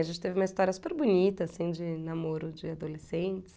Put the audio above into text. A gente teve uma história super bonita, assim, de namoro de adolescentes.